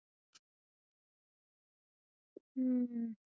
ਹਮ।